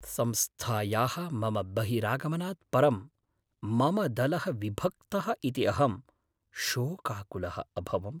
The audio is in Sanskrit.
संस्थायाः मम बहिरागमनात् परं मम दलः विभक्तः इति अहं शोकाकुलः अभवम्।